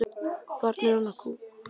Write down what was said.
Barn hennar er Kolbrún María.